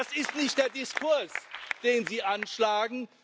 Aber das ist nicht der Diskurs, den Sie anschlagen.